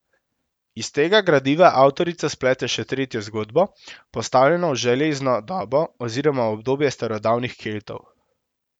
Iz tega gradiva avtorica splete še tretjo zgodbo, postavljeno v železno dobo oziroma v obdobje starodavnih Keltov.